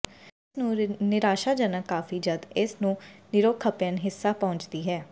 ਇਸ ਨੂੰ ਨਿਰਾਸ਼ਾਜਨਕ ਕਾਫੀ ਜਦ ਇਸ ਨੂੰ ਯੂਰੋਖਪਅਨ ਹਿੱਸਾ ਪਹੁੰਚਦੀ ਹੈ